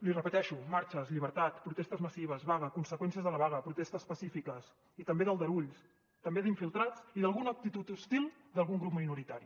li repeteixo marxes llibertat protestes massives vaga conseqüències de la vaga protestes pacífiques i també d’aldarulls també d’infiltrats i d’alguna actitud hostil d’algun grup minoritari